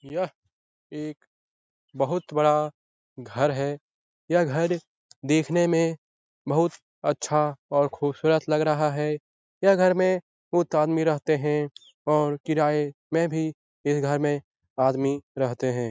यह एक बहुत बड़ा घर है। यह घर देखने में बहुत अच्छा और खूबसूरत लग रहा है यह घर में बहुत आदमी रहते हैं और किराये में भी यह घर में आदमी रहते हैं।